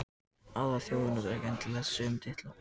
aðrar þjóðir nota ekki endilega þessa sömu titla